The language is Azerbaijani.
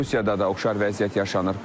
Rusiyada da oxşar vəziyyət yaşanır.